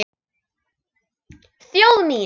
Þjóð mín!